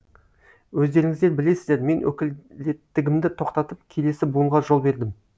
өздеріңіздер білесіздер мен өкілеттігімді тоқтатып келесі буынға жол бердім